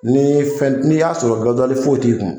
N'i ye fɛn n'i y'a sɔrɔ gaziwli foyi tɛ yen tulu i kun